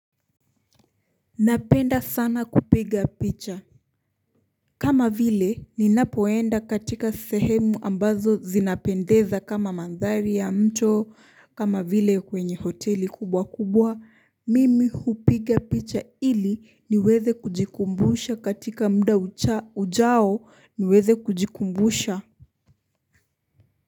Napenda sana kupiga picha kama vile ninapoenda katika sehemu ambazo zinapendeza kama mandhari ya mto kama vile kwenye hoteli kubwa kubwa mimi hupiga picha ili niweze kujikumbusha katika mda ujao niweze kujikumbusha.